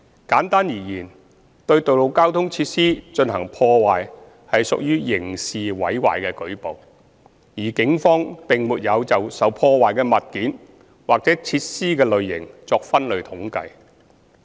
簡單而言，對道路交通設施進行破壞屬刑事毀壞的舉報，而警方並沒有就受破壞的物件或設施的類型作分類統計。